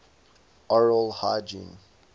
oral hygiene